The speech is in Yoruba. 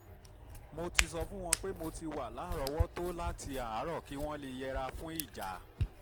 mo ti sọ fún wọn pé mo ti wà lárọ̀ọ́wọ́tó láti àárọ̀ kí wọ́n lè yẹra fún ìjà